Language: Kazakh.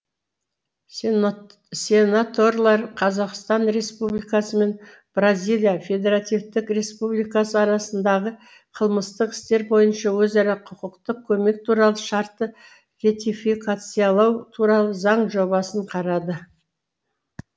сенаторлар қазақстан республикасы мен бразилия федеративтік республикасы арасындағы қылмыстық істер бойынша өзара құқықтық көмек туралы шартты ретификациялау туралы заң жобасын қарады